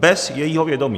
Bez jejího vědomí.